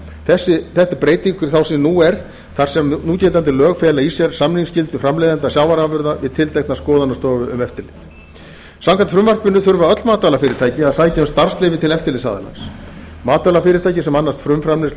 er breyting frá því sem nú er þar sem núgildandi lög fela í sér samningsgildi framleiðenda sjávarafurða við tilteknar skoðunarstofur um eftirlit samkvæmt frumvarpinu þurfa öll matvælafyrirtæki að sækja um starfsleyfi til eftirlitsaðilans matvælafyrirtæki sem annast frumframleiðslu